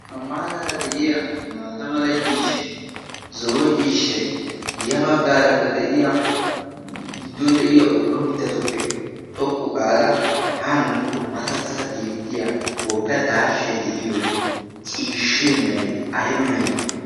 hamaaraara de'iya maatamala ciishshai zo'o ciishshai yabaggaarakka de'iya giddon de'iya ubba mittatuppe xoqqu gaada haa nuukko matattata beettiya wogga daashshay de'iyo ciishshee meray ayma mere?